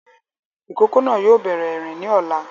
Ìkókó náà yóò bẹ̀rẹ̀ ìrìn ni ọ̀la